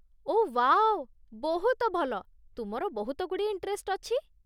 ଓଃ wow, ବହୁତ ଭଲ, ତୁମର ବହୁତଗୁଡ଼ିଏ ଇଣ୍ଟରେଷ୍ଟ ଅଛି ।